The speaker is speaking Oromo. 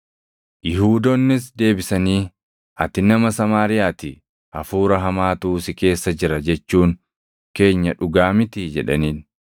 Yihuudoonnis deebisanii, “Ati nama Samaariyaa ti; hafuura hamaatu si keessa jira jechuun keenya dhugaa mitii?” jedhaniin.